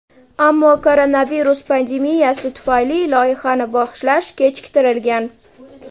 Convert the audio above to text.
ammo koronavirus pandemiyasi tufayli loyihani boshlash kechiktirilgan.